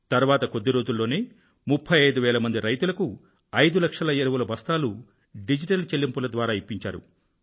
తరువాత కొద్ది రోజుల్లోనే 35000 మంది రైతులకు 5 లక్షల ఎరువుల బస్తాలు డిజిటల్ చెల్లింపుల ద్వారా ఇప్పించారు